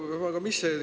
Hea ettekandja!